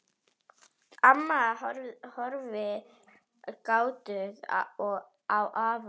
Amma horfir gáttuð á afa.